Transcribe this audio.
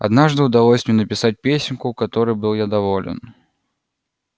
однажды удалось мне написать песенку которой был я доволен